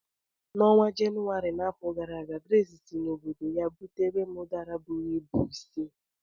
N'ọnwa Jenụwarị n'afọ gara aga, Grace si n'obodo ya butere m Udara bụrụ ịbụ si.